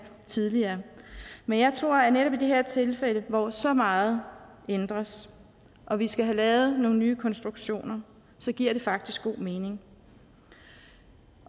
tidligere men jeg tror at netop i det her tilfælde hvor så meget ændres og vi skal have lavet nogle nye konstruktioner så giver det faktisk god mening